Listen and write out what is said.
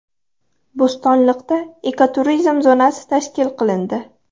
Bo‘stonliqda ekoturizm zonasi tashkil qilindi.